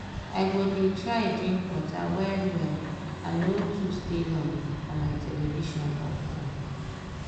i go dey try drink water well well and no too stay long for my television or fone.